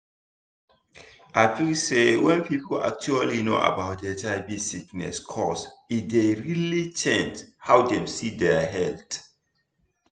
i feel say wen people actually know about hiv sickness cause e dey really change how dem see dia health